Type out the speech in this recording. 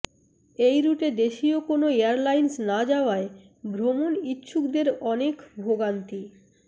এই রুটে দেশীয় কোনো এয়ারলাইন্স না যাওয়ায় ভ্রমণ ইচ্ছুকদের অনেক ভোগান্তি